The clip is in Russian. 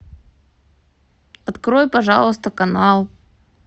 открой пожалуйста канал